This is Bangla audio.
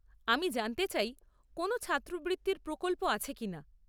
আমি জানতে চাই কোনও ছাত্রবৃত্তির প্রকল্প আছে কিনা।